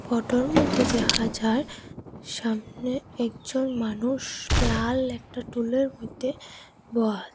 ফটোর মইধ্যে দেহা যায় সামনে একজন মানুষ লাল একটা টুলের মইধ্যে বহা।